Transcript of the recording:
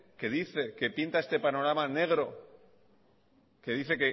que dice que pinta este panorama negro que dice